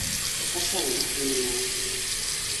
Hassan en ng'a?